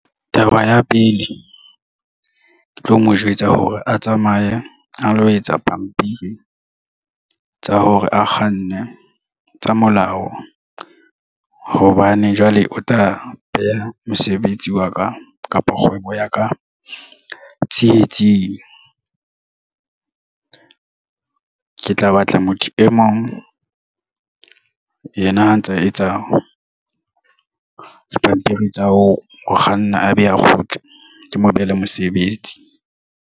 Taba ya pele ke tlo mo jwetsa hore a tsamaye a lo etsa pampiri tsa hore a kganne tsa molao hobane jwale o tla beha mosebetsi wa ka kapa kgwebo ya ka tsietsing. Ke tla batla motho e mong. Yena ha ntsa etsa dipampiri tsa ho kganna, a be a kgotse kemo behele mosebetsi.